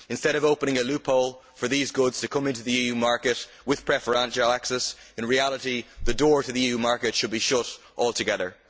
Instead of opening a loophole for these goods to come into the EU market with preferential access, in reality the door to the EU market should be shut altogether.